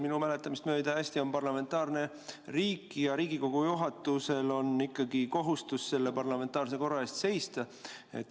Minu mäletamist mööda Eesti on parlamentaarne riik ja Riigikogu juhatusel on ikkagi kohustus parlamentaarse korra eest seista.